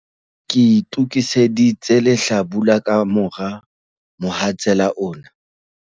Ke itokiseditse lehlabula ka mora mohatsela ona.